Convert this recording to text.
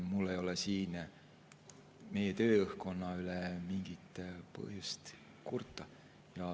Mul ei ole meie tööõhkkonna üle mingit põhjust kurta.